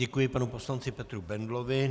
Děkuji panu poslanci Petru Bendlovi.